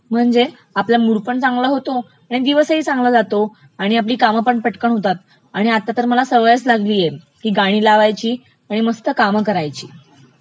म्हणजे आपला मूड पण चांगला होतो, आणि दिवसही चांगला जातो, आणि आपली कामही पटकन होतात, आणि आता तर मला सवयच लागलिय की गाणी लावायची आणि मस्त कामं करायची.